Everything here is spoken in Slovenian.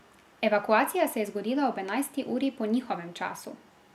Evakuacija se je zgodila ob enajsti uri po njihovem času.